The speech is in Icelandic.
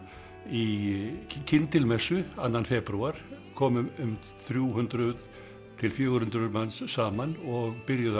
í annan febrúar komu um þrjú hundruð til fjögur hundruð manns saman og byrjuðu að